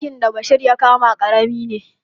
Ɗakin da Bashir ya kama ƙarami ne.